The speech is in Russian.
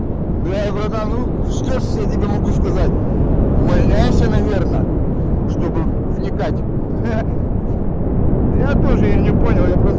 бля братан ну что ж я тебе могу сказать увольняйся наверное чтобы вникать ха-ха я тоже я не понял я просто